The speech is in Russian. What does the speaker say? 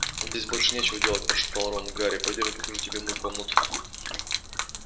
нам здесь больше нечего делать прошептал рон гарри пойдём я покажу тебе мою комнату